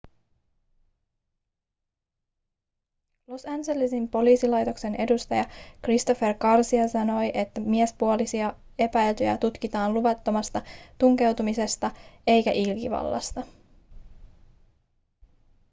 los angelesin poliisilaitoksen edustaja christopher garcia sanoi että miespuolista epäiltyä tutkitaan luvattomasta tunkeutumisesta eikä ilkivallasta